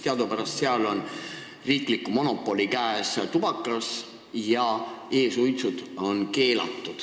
Teadupärast seal on tubakamüük riikliku monopoli käes ja e-suitsud on keelatud.